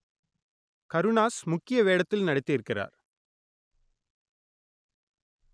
கருணாஸ் முக்கிய வேடத்தில் நடித்திருக்கிறார்